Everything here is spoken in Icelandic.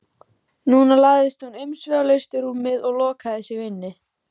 Núna lagðist hún umsvifalaust í rúmið og lokaði sig inni.